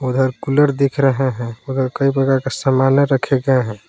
उधर कूलर दिख रहा है मगर कई प्रकार का सामान रखे गए हैं।